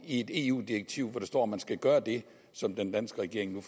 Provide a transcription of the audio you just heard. et eu direktiv hvor der står at man skal gøre det som den danske regering